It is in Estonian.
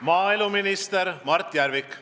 Maaeluminister Mart Järvik.